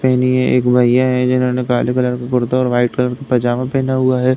पहनी है। एक भैया है जिन्होनें काले कलर का कुर्ता और व्हाइट कलर का पजामा पहना हुआ है।